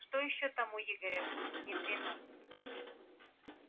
что ещё там у игоря внедрено